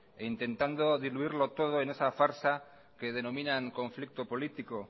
e intentando diluirlo todo en esa farsa que denominan conflicto político